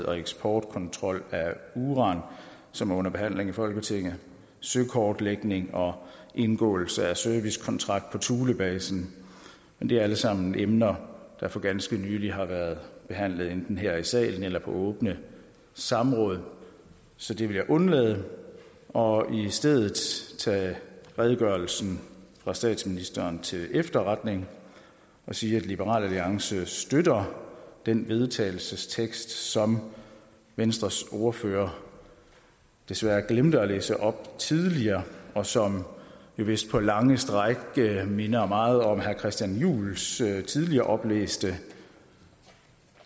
og eksportkontrol af uran som er under behandling i folketinget søkortlægning og indgåelse af servicekontrakt på thulebasen men det er alle sammen emner der for ganske nylig har været behandlet enten her i salen eller på åbne samråd så det vil jeg undlade og i stedet tage redegørelsen fra statsministeren til efterretning og sige at liberal alliance støtter den vedtagelsestekst som venstres ordfører desværre glemte at læse op tidligere og som vist på lange stræk minder meget om herre christian juhls tidligere oplæste